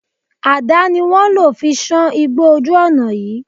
Àdà ni wọ́n lò fi sán igbó ojú ọ̀nà yìí